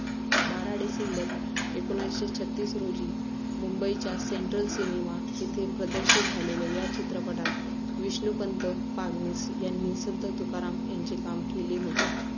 बारा डिसेंबर एकोणीसशे छत्तीस रोजी मुंबईच्या सेंट्रल सिनेमा येथे प्रदर्शित झालेल्या या चित्रपटात विष्णूपंत पागनीस यांनी संत तुकाराम यांचे काम केले होते.